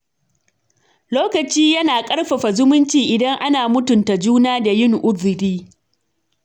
Lokaci yana ƙarfafa zumunci idan ana mutunta juna da yin uziri